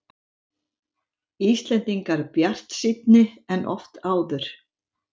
Íslendingar bjartsýnni en oft áður